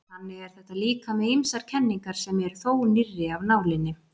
Þannig er þetta líka með ýmsar kenningar sem eru þó nýrri af nálinni.